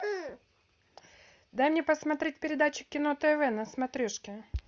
дай мне посмотреть передачу кино тв на смотрешке